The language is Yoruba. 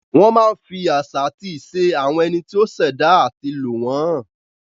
Wọn a máa fi àṣà àti ìṣe àwọn ẹni tí o ṣ'èdá ati lò wọ́n hàn.